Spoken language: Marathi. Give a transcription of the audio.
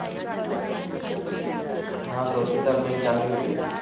हा स्वच्छता अभियान चांगली होती